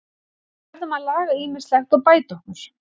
Við verðum að laga ýmislegt og bæta okkur.